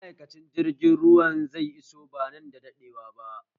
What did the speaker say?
Ma'aikacin jirgin ruwan zai iso ba nan bada daɗewa ba